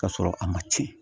K'a sɔrɔ a ma tiɲɛ